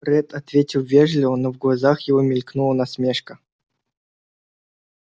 ретт ответил вежливо но в глазах его мелькнула насмешка